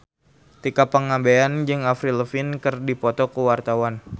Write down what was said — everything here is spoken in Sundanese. Tika Pangabean jeung Avril Lavigne keur dipoto ku wartawan